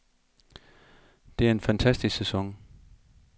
Det er en fantastisk sæson.